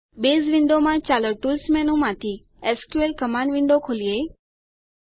base વિન્ડોમાં ચાલો tools મેનૂમાંથી એસક્યુએલ કમાંડ વિન્ડો ખોલીએ